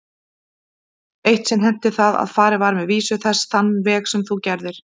Eitt sinn henti það að farið var með vísu þessa þann veg sem þú gerðir.